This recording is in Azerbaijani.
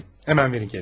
Dərhal verin ona.